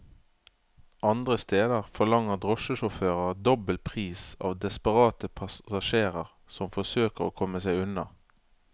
Andre steder forlanger drosjesjåfører dobbel pris av desperate passasjerer som forsøker å komme seg unna.